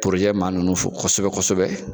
maa nunnu fo kosɛbɛ kosɛbɛ